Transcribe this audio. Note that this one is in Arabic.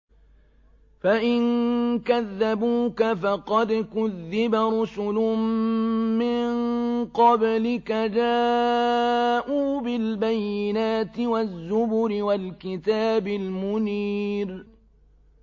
فَإِن كَذَّبُوكَ فَقَدْ كُذِّبَ رُسُلٌ مِّن قَبْلِكَ جَاءُوا بِالْبَيِّنَاتِ وَالزُّبُرِ وَالْكِتَابِ الْمُنِيرِ